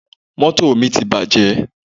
Mọ́tò mi ti bàjẹ́.